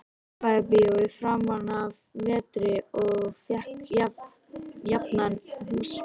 Austurbæjarbíói framanaf vetri og fékk jafnan húsfylli.